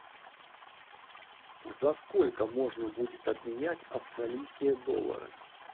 за сколько можно будет обменять австралийские доллары